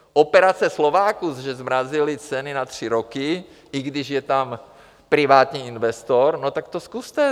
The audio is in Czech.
Operace Slováků, že zmrazili ceny na tři roky, i když je tam privátní investor, no tak to zkuste.